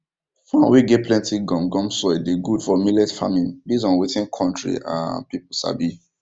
farm wey get plenty gum gum soil dey good for millet farming based on wetin country um people sabi